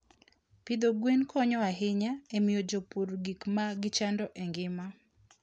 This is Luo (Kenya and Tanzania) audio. Pidho gwen konyo ahinya e miyo jopur gik ma gichando e ngima.